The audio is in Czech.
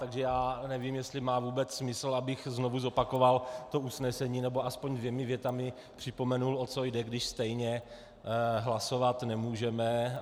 Takže já nevím, jestli má vůbec smysl, abych znovu zopakoval to usnesení nebo aspoň dvěma větami připomenul, o co jde, když stejně hlasovat nemůžeme.